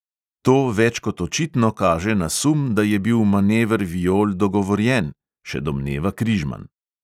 "To več kot očitno kaže na sum, da je bil manever viol dogovorjen," še domneva križman.